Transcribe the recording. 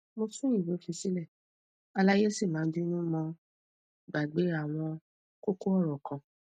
mo tun iwe fi sile alaye sii ma binu mo gbagbe awon koko oro kan